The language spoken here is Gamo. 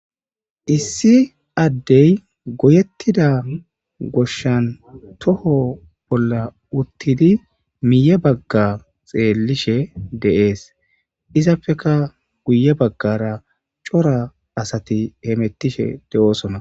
issi addey goyettida goshshan toho bolla uttidi miye bagga xeellishe de7ees izapfeka guye baggara cora asati heemettishe de7oosona